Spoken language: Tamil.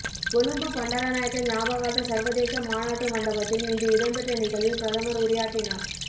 கொழும்பு பண்டாரநாயக்க ஞாபகார்த்த சர்வதேச மாநாட்டு மண்டபத்தில் இன்று இடம்பெற்ற நிகழ்வில் பிரதமர் உரையாற்றினார்